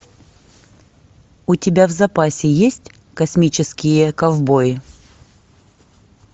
у тебя в запасе есть космические ковбои